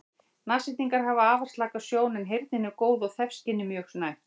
Nashyrningar hafa afar slaka sjón en heyrnin er góð og þefskynið mjög næmt.